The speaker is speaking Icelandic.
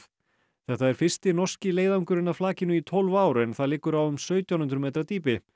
þetta er fyrsti norski leiðangurinn að flakinu í tólf ár en það liggur á um sautján hundruð metra dýpi